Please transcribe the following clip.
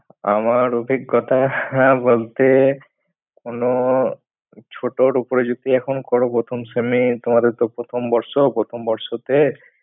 আমার অভিজ্ঞতা হ্যাঁ, বলতে কোনো ছোটর উপরে যদি এখন করো প্রথম শ্রেণী তোমাদের তো প্রথম বর্ষ প্রথম বর্ষতে।